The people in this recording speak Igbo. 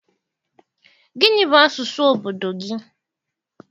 Gịnị bụ asụsụ obodo gị?